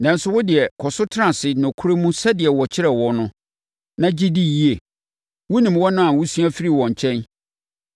Nanso, wo deɛ, kɔ so tena ase nokorɛ mu sɛdeɛ wɔkyerɛɛ wo no, na gye di yie. Wonim wɔn a wosua firii wɔn nkyɛn,